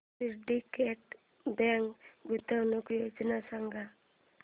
Syndicate Bank गुंतवणूक योजना दाखव